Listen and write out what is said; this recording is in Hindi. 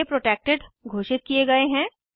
ये प्रोटेक्टेड घोषित किये गए हैं